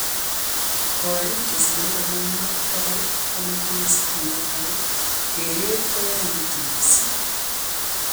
Korik chesirei tamanwakik bokol komatinye sitimet ako keret koyaitu missing.